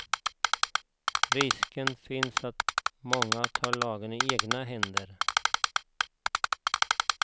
Risken finns att många tar lagen i egna händer.